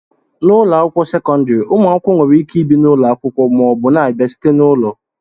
n'ụlọ akwụkwọ sekọndrị, ụmụ akwụkwọ nwere ike ibi na ụlọ akwụkwọ ma ọ bụ na-abịa site n'ụlọ